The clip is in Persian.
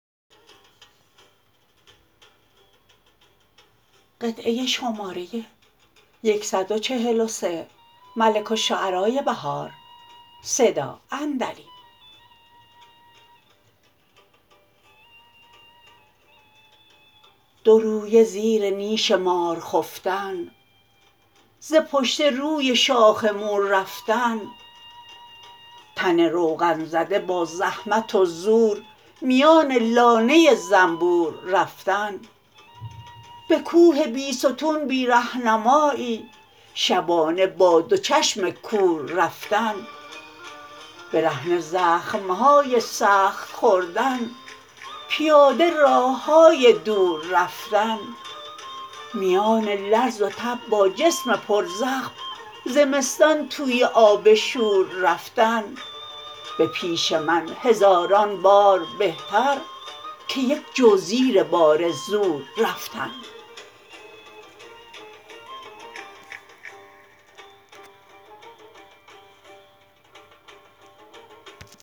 دو رویه زیر نیش مار خفتن سه پشته روی شاخ مور رفتن تن روغن زده با زحمت و زور میان لانه زنبور رفتن به کوه بیستون بی ره نمایی شبانه با دو چشم کور رفتن برهنه زخم های سخت خوردن پیاده راه های دور رفتن میان لرز وتب با جسم پر زخم زمستان توی آب شور رفتن به پیش من هزاران بار بهتر که یک جو زیر بار زور رفتن